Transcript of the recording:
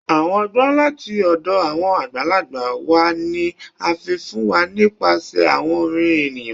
Awọn ọgbọn lati ọdọ awọn agbalagba wa ni a fi fun wa nipasẹ awọn orin eniyan